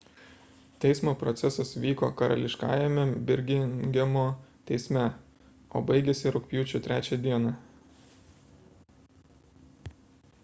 teismo procesas vyko karališkajame birmingemo teisme o baigėsi rugpjūčio 3 d